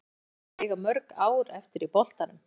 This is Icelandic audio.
Hvað telur hann sig eiga mörg ár eftir í boltanum?